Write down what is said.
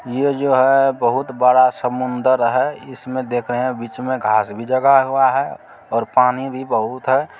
ये जो है बहुत बड़ा समुंदर है इसमें देख रहे हैं बीच में घास भी लगा हुआ है और पानी भी बहुत है।